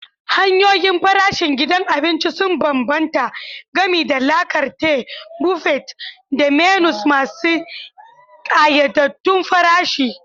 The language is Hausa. Hanyoyin farashin gidan abinci sun bambanta, gami da la carte, buffet, da menus masu ƙayyadaddun farashi.